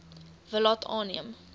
wil laat aanneem